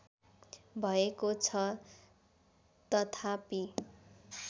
भएको छ तथापी